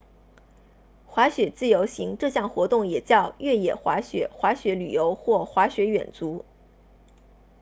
滑雪自由行这项活动也叫越野滑雪滑雪旅游或滑雪远足